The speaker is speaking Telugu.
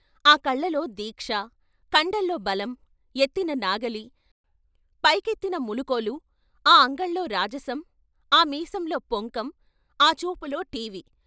ఆ కళ్ళల్లో దీక్ష, కండల్లో బలం, ఎత్తిన నాగలి, పైకెత్తిన ములుకోలు, ఆ అంగల్లో రాజనం, ఆ మీసంలో పొంకం, ఆ చూపులో ఠీవి.